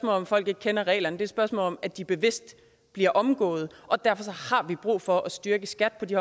om at folk ikke kender reglerne et spørgsmål om at de bevidst bliver omgået og derfor har vi brug for at styrke skat på de